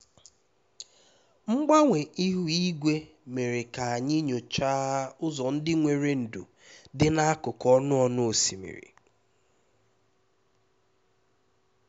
mgbanwe ihu igwe mere ka anyị nyochaa ụzọ ndị nwere ndò dị n'akụkụ ọnụ ọnụ osimiri